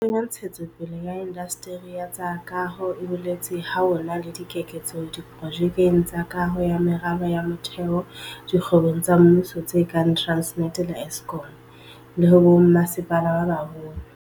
Boto ya Ntshetsopele ya Indasteri ya tsa Kaho e boletse ha ho na le keketseho diprojekeng tsa kaho ya meralo ya motheo dikgwebong tsa mmuso tse kang Transnet le Eskom, le ho bommasepala ba baholo.